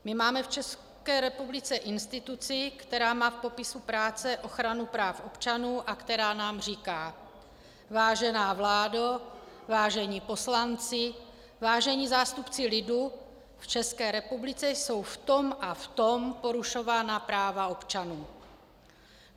My máme v České republice instituci, která má v popisu práce ochranu práv občanů a která nám říká: Vážená vládo, vážení poslanci, vážení zástupci lidu, v České republice jsou v tom a v tom porušována práva občanů.